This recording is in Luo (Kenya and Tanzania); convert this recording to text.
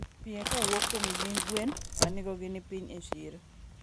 pie kawuok kuom gi gwen ma nengogi ni piny e chiro.